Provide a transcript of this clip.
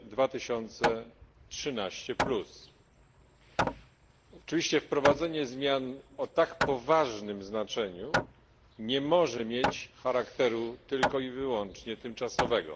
2013. Oczywiście wprowadzenie zmian o tak poważnym znaczeniu nie może mieć charakteru tylko i wyłącznie tymczasowego.